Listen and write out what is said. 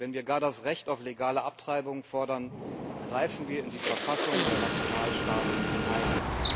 Wenn wir gar das Recht auf legale Abtreibung fordern, greifen wir in die Verfassung der Nationalstaaten ein.